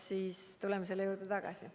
Siis tuleme selle juurde tagasi.